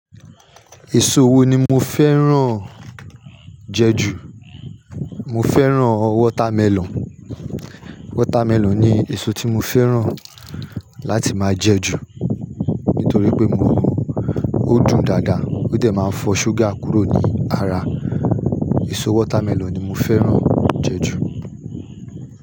Èso wo ni mo fẹ́ràn jẹ jù? Mo fẹ́ràn water melon. Water melon ni èso tí mo fẹ́ràn láti máa jẹ jù nítorí pé mo, ó dùn dáadáa ó dẹ̀ máa ń fọ ṣúgà kúrò ní ara. Èso water melon ni mo fẹ́ràn jẹ jù.